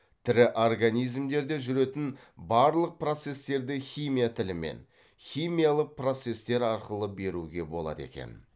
тірі организмдерде жүретін барлық процестерді химия тілімен химиялық процестер арқылы беруге болады екен